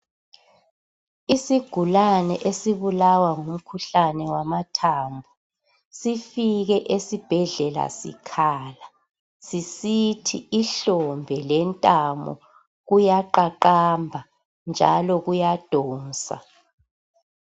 Isigulane esibulawa ngumkhuhlane wamathambo sifike esibhedlela sikhala sisithi ihlombe lentamo kuyaqaqamba njalo kuyadonsa